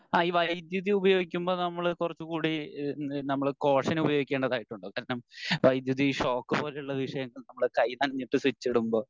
ആ ഈ വൈദ്യുതി ഉപയോഗികുമ്പോ നമ്മൾ കുറച്ചുകൂടി ഈഹ് നമ്മൾ കോഷൻ ഉപയോഗിക്കേണ്ടതായിട്ടുണ്ട് കാരണം വൈദ്യുതി ഷോക്ക് പോലെയുള്ള വിഷയങ്ങൾ നമ്മൾ കൈ നനഞ്ഞിട്ട് സ്വിച്ച് ഇടുമ്പോ